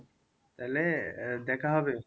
তাহলে আহ দেখা হবে খুব